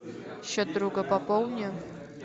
счет друга пополни